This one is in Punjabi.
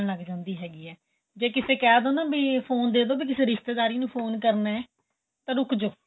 ਨੀਂਦ ਆਂਣ ਲੱਗ ਜਾਂਦੀ ਹੈਗੀ ਏ ਜੇ ਕਿਥੇ ਕਹਿ ਦੋ ਨਾ ਵੀ ਫੋਨ ਦੇਦੋ ਵੀ ਕਿਸੇ ਰਿਸਤੇਦਾਰੀ ਨੂੰ ਫੋਨ ਕਰਨਾ ਏ ਤਾਂ ਰੁੱਖ ਜੋ